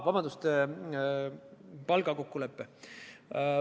Vabandust – palgakokkulepe!